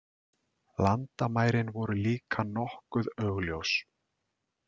Landamærin voru líka nokkuð augljós.